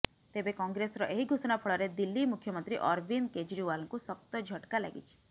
ତେବେ କଂଗ୍ରେସର ଏହି ଘୋଷଣା ଫଳରେ ଦିଲ୍ଲୀ ମୁଖ୍ୟମନ୍ତ୍ରୀ ଅରବିନ୍ଦ କେଜ୍ରିୱାଲଙ୍କୁ ଶକ୍ତ ଝଟ୍କା ଲାଗିଛି